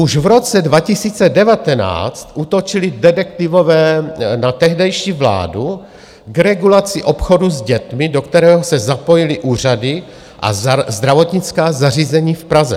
Už v roce 2019 útočili detektivové na tehdejší vládu k regulaci obchodu s dětmi, do kterého se zapojily úřady a zdravotnická zařízení v Praze.